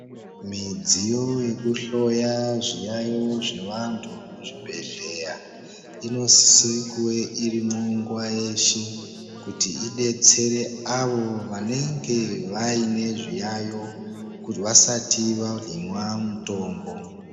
Midziyo yekuhloya zviyaiyo zvevantu muzvibhedhlera inosise kuve irimwo nguwa yeshe kuti idetsera avo vanenge vaine zviyaiyo vasati vahinwe mitombo.